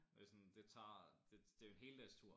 Og det sådan det tager det det jo en heldagstur